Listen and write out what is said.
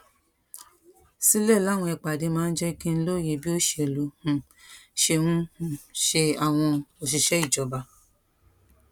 sílè láwọn ìpàdé máa ń jé kí n lóye bí òṣèlú um ṣe um ń ṣe àwọn òṣìṣé ìjọba